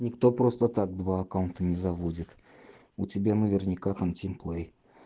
никто просто так два аккаунта не заводит у тебя наверняка там тимплей